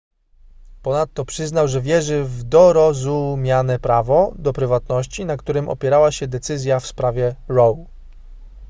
ponadto przyznał że wierzy w dorozumiane prawo do prywatności na którym opierała się decyzja w sprawie roe